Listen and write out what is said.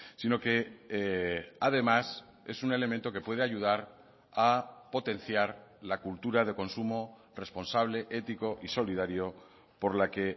sino que además es un elemento que puede ayudar a potenciar la cultura de consumo responsable ético y solidario por la que